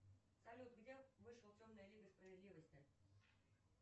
салют где вышла темная лига справедливости